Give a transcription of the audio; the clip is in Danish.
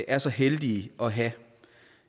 er så heldige at have